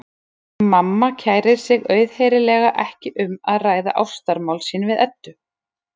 Mamma kærir sig auðheyrilega ekki um að ræða ástamál sín við Eddu.